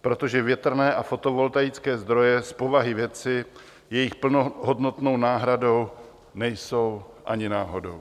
protože větrné a fotovoltaické zdroje z povahy věci jejich plnohodnotnou náhradou nejsou ani náhodou.